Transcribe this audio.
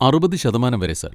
അറുപത് ശതമാനം വരെ, സർ.